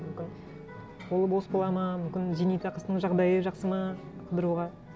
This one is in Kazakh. мүмкін қолы бос болады ма мүмкін зейнетақысының жағдайы жақсы ма қыдыруға